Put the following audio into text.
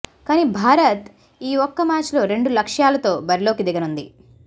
కానీ భారత్ ఈ ఒక్క మ్యాచ్ లో రెండు లక్ష్యాలతో బరిలోకి దిగనుంది